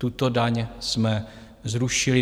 Tuto daň jsme zrušili.